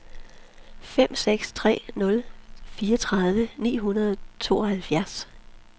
fem seks tre nul fireogtredive ni hundrede og tooghalvfjerds